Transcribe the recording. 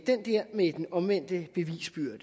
der med den omvendte bevisbyrde